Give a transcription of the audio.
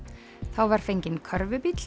þá var fenginn